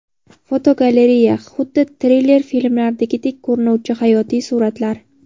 Fotogalereya: Xuddi triller filmlaridagidek ko‘rinuvchi hayotiy suratlar.